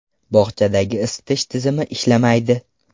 Bog‘chadagi isitish tizimi ishlamaydi.